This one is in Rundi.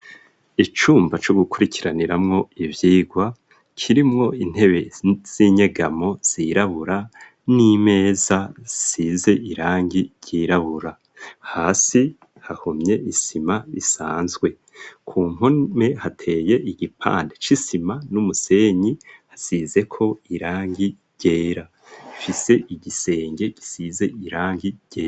Icumba co gukurikiraniramwo ivyigwa, kirimwo intebe z'inyegamo zirabura n'imeza isize irangi ryirabura. Hasi hahomye isima isanzwe. Ku mpome hateye igipande c'isima n'umusenyi hasizeko irangi ryera, ifise igisenge gisize irangi ryera.